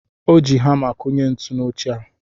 O ji hamá kụnye ntu n'oche a.